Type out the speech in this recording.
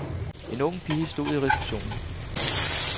En ung pige stod i receptionen.